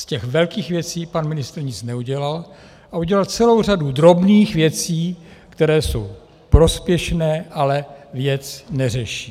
Z těch velkých věcí pan ministr nic neudělal a udělal celou řadu drobných věcí, které jsou prospěšné, ale věc neřeší.